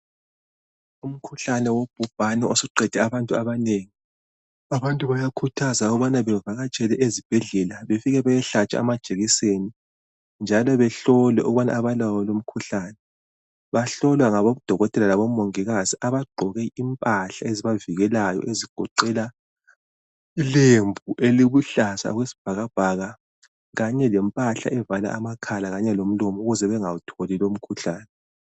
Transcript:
Umkhuhlane wobhubhane osuqede abantu abanengi, abantu bayakhuthazwa ukubana bavakatshele ezibhedlela befike beyehlatshwa amajekiseni njalo behlolwe ukuthi abalawo yini lowomkhuhlane. Bahlolwa ngabodokotela labomongikazi abagqoke impahla ezibavikelayo ezigoqela ilembu eliluhlaza okwesibhakabhaka kanye lempahla evala amakhala lomlomo ukuze bangawutholi lomkhuhlane.